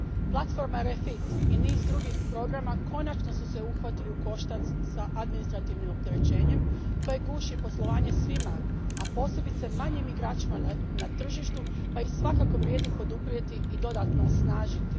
Platforma REFIT i niz drugih programa konačno su se uhvatili u koštac s administrativnim opterećenjem koje guši poslovanje svima, a posebice manjim igračima na tržištu, pa ih svakako vrijedi poduprijeti i dodatno osnažiti.